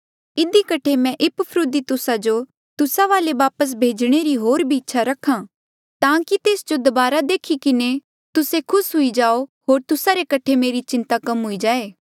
इधी कठे मैं इपफ्रुदीतुस जो तुस्सा वाले वापस भेजणे री होर भी इच्छा रखा ताकि तेस जो दबारा देखी किन्हें तुस्से खुस हुई जाओ होर तुस्सा रे कठे मेरी चिंता कम हुई जाए